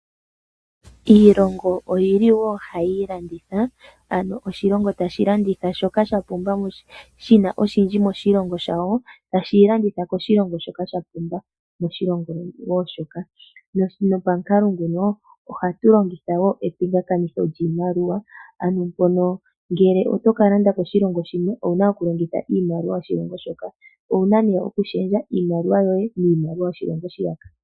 Iilongo oyili wo hayi ilanditha. Ano oshilingo tashi landitha shoka sha pumba shina oshindji moshilongo shawo. Tashi yi landitha koshilongo shoka sha pumba moshilongo wo moka. Nopamukalo nguno ohatu longitha wo epingakanitho lyiimaliwa. Ano mpono ngele